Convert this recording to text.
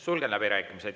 Sulgen läbirääkimised.